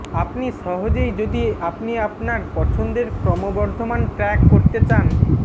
আপনি সহজেই যদি আপনি আপনার পছন্দের ক্রমবর্ধমান ট্র্যাক করতে চান